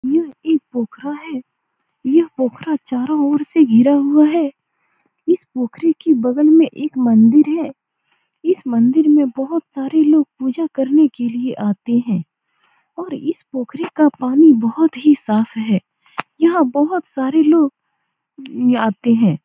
यह एक पोखरा है यह पोखरा चारो ओर से घिरा हुआ है इस पोखरा के बगल में एक मंदिर है इस मंदिर मे बहुत सारे लोग पूजा करने के लिए आते हैं और इस पोखरे का पानी बहुत साफ़ है यहाँ बहुत सारे लोग आते हैं ।